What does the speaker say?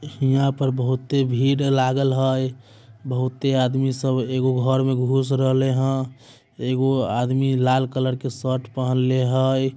हीया पर बहूते भीड़ लागल है। बहुते आदमी सब एगो घर में घुस रहले हय। एगो आदमी लाल कलर के शर्ट पहनले हय।